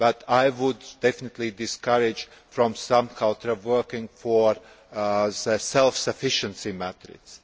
I would definitely discourage a sub culture of working towards self sufficiency methods.